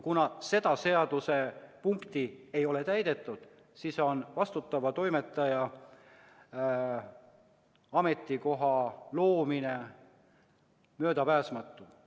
Kuna seda seadusepunkti ei ole täidetud, on vastutava toimetaja ametikoha loomine möödapääsmatu.